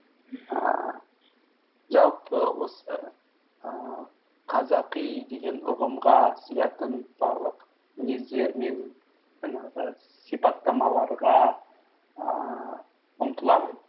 мхм ііі жалпы осы ііі қазақи деген ұғымға сиятын барлық мінездер мен жаңағы сипаттамаларға ііі ұмтыламын